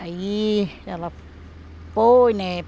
Aí ela foi, né?